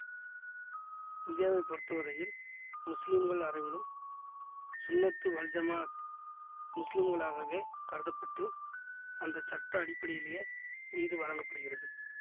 இந்தியாவை பொருத்த வரையில் முஸ்லிம்கள் அனைவரும் சுன்னத்து வல்ஜமாஅத் முஸ்லிம்களாகவே கருத பட்டு அந்த சட்ட அடிப்படையிலேயே நீதி வழங்க படுகிறது